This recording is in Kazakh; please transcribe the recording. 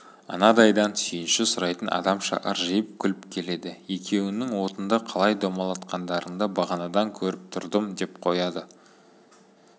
анадайдан сүйінші сұрайтын адамша ыржиып күліп келеді екеуіңнің отынды қалай домалатқандарыңды бағанадан көріп тұрдым деп қояды